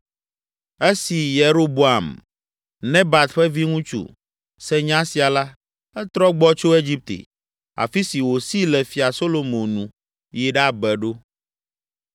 Esi Yeroboam, Nebat ƒe viŋutsu, se nya sia la, etrɔ gbɔ tso Egipte, afi si wòsi le Fia Solomo nu, yi ɖabe ɖo.